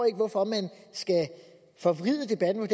ikke hvorfor man skal forvride debatten